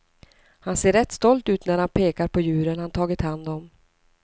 Han ser rätt stolt ut när han pekar på djuren han tagit hand om.